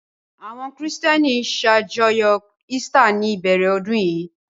Àwọn Kìrìtẹ́ẹ́nì ṣàjọyọ̀ Easter ní ìbẹ̀rẹ̀ ọdún yìí.